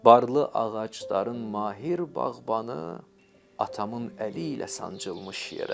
Barlı ağacların mahir bağbanı atamın əli ilə sancılmış yerə.